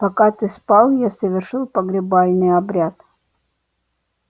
пока ты спал я совершил погребальный обряд